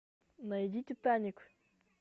найди титаник